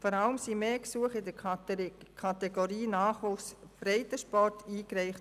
Vor allem wurden mehr Gesuche in der Kategorie «Nachwuchsförderung Breitensport» eingereicht.